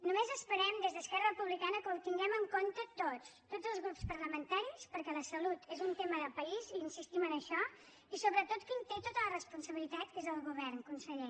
només esperem des d’esquerra republicana que ho tinguem en compte tots tots els grups parlamentaris perquè la salut és un tema de país insistim en això i sobretot qui en té tota la responsabilitat que és el govern conseller